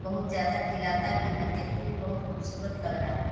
बहुत ज्यादा खिलता भी है देखने में बहुत खूबसूरत लग रहा है।